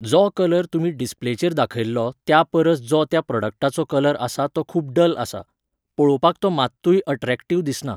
जो कलर तुमी डिसप्लेचेर दाखयल्लो त्या परस जो त्या प्रॉडक्टाचो कलर आसा तो खूब डल आसा. पळोवपाक तो मात्तूय अट्रेकटीव दिसना.